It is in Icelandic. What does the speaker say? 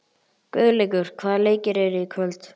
Guðleikur, hvaða leikir eru í kvöld?